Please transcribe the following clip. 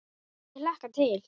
Ég hlakka til.